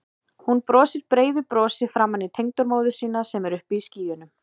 Hún brosir breiðu brosi framan í tengdamóður sína sem er uppi í skýjunum.